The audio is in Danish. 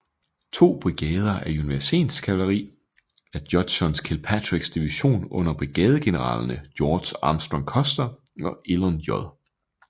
To brigader af unionskavaleri fra Judson Kilpatricks division under brigadegeneralerne George Armstrong Custer og Elon J